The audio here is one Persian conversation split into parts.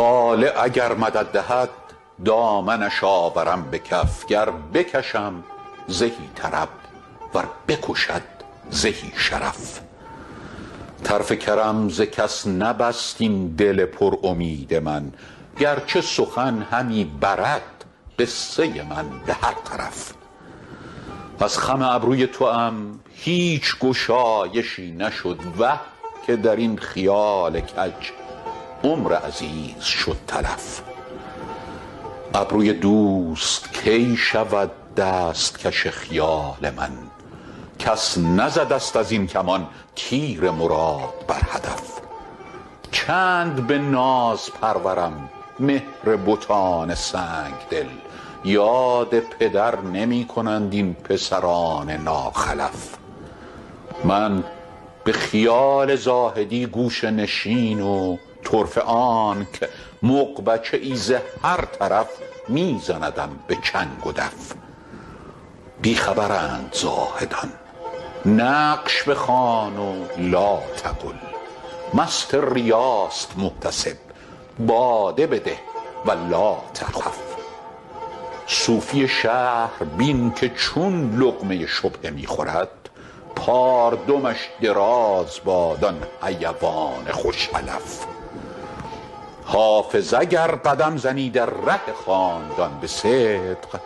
طالع اگر مدد دهد دامنش آورم به کف گر بکشم زهی طرب ور بکشد زهی شرف طرف کرم ز کس نبست این دل پر امید من گر چه سخن همی برد قصه من به هر طرف از خم ابروی توام هیچ گشایشی نشد وه که در این خیال کج عمر عزیز شد تلف ابروی دوست کی شود دست کش خیال من کس نزده ست از این کمان تیر مراد بر هدف چند به ناز پرورم مهر بتان سنگ دل یاد پدر نمی کنند این پسران ناخلف من به خیال زاهدی گوشه نشین و طرفه آنک مغبچه ای ز هر طرف می زندم به چنگ و دف بی خبرند زاهدان نقش بخوان و لاتقل مست ریاست محتسب باده بده و لاتخف صوفی شهر بین که چون لقمه شبهه می خورد پاردمش دراز باد آن حیوان خوش علف حافظ اگر قدم زنی در ره خاندان به صدق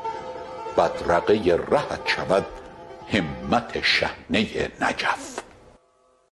بدرقه رهت شود همت شحنه نجف